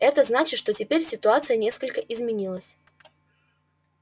это значит что теперь ситуация несколько изменилась